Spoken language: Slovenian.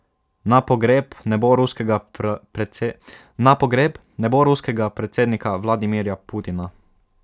Na pogreb ne bo ruskega predsednika Vladimirja Putina.